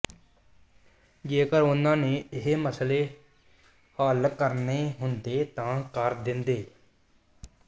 ਜੇਕਰ ਉਨ੍ਹਾਂ ਨੇ ਇਹ ਮਸਲੇ ਹੱਲ ਕਰਨੇ ਹੁੰਦੇ ਤਾਂ ਕਰ ਦਿੰਦੇ